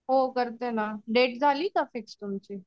हो करते ना डेट झाली का फिक्स तुमची?